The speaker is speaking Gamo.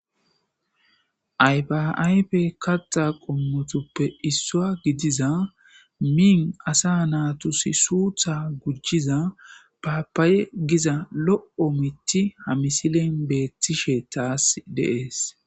Ayfa ayfe katta qommotoppe issuwa gidiza miin asa naatusi suuththa gujjiza paapaye giza lo'o mitti ha misilen beettishe taas de'es